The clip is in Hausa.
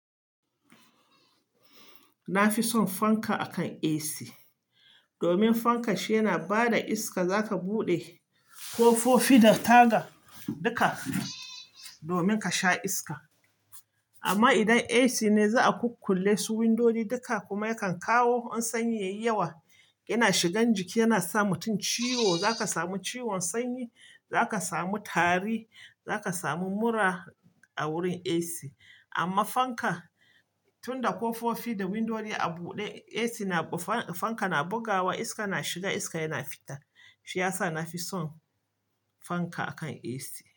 Na fi son fanka akan AC. Domin fanka shi yana ba da iska, zaka buɗe ƙofofi da taga duka domin ka sha iska. Amma idan AC ne za a kukkulle su windodi duka kuma yakan kawo wani sanyi yayi yawa, yana shigan jiki yana sa mutum ciwo, zaka samu ciwon sanyi, zaka samu tari, zaka samu mura a wurin AC. Amma fanka, tunda kofofi da windodo a bude ac na fanka na bugawa iska na shiga iska yana fita. Shi ya sa na fi son fanka akan AC.